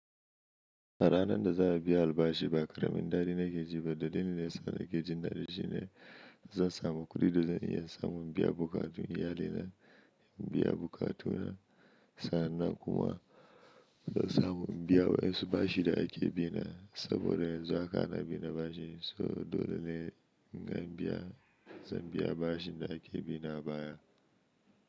A ranan da za a biya albashi baƙaramin daɗi na ke ji ba, dalilin da yasa nake jin daɗi shine zan samu kuɗi, da zan iya in samu in biya buƙatu iyalina, in biya buƙatuna sa'annan kuma in samu biya wai su bashi da ake bina saboda yanzu haka ana bi na bashi. So dole ne zan biya bashi da ake bina baya.